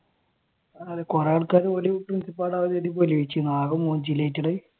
അതെ കുറെ ആൾക്കാർ പ്രിൻസിപ്പാളാകാൻ ആകെ